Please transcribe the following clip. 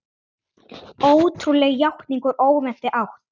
Ótrúleg játning úr óvæntri átt